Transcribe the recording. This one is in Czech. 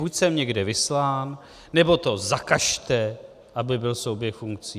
Buď jsem někde vyslán, nebo to zakažte, aby byl souběh funkcí.